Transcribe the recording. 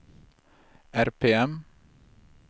RPM